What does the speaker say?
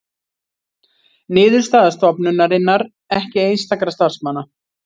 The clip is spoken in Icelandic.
Niðurstaða stofnunarinnar ekki einstakra starfsmanna